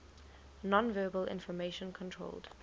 nonverbal information controlled